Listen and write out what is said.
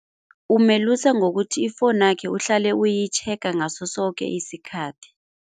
Umelusa ngokuthi ifonakhe uhlale uyitjhega ngaso soke isikhathi.